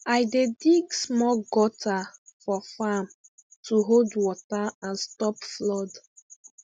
i dey dig small gutter for farm to hold water and stop flood